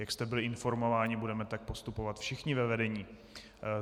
Jak jste byli informováni, budeme tak postupovat všichni ve vedení.